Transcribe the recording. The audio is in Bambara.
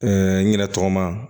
n yɛrɛ tɔgɔma